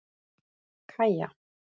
Kaja